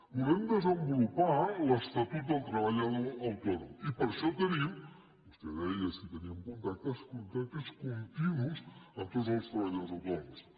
volem desenvolupar l’estatut del treballador autònom i per això tenim vostè deia si teníem contactes contactes continus amb tots els treballadors autònoms